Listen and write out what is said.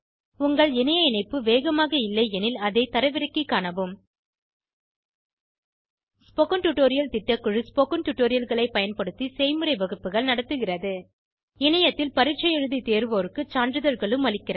உங்கள் இணைய இணைப்பு வேகமாக இல்லையெனில் அதை தரவிறக்கிக் காணவும் ஸ்போகன் டுடோரியல் திட்டக்குழு ஸ்போகன் டுடோரியல்களைப் பயன்படுத்தி செய்முறை வகுப்புகள் நடத்துகிறது இணையத்தில் பரீட்சை எழுதி தேர்வோருக்கு சான்றிதழ்களும் அளிக்கிறது